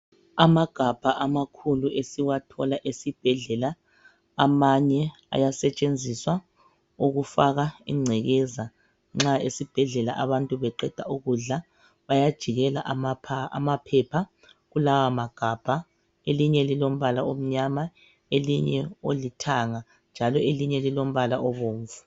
Amagabha amakhulu esiwathola esibhedlela amanye ayatshenziswa ukufaka incekeza nxa esibhedlela abantu beqeda ukudla bayajikela amaphepha kulawa magabha. Elinye lilombala omnyama, omunye olithanga njalo elinye lilombala obomvu.